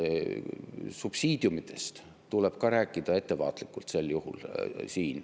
Subsiidiumidest tuleb siin ka rääkida ettevaatlikult.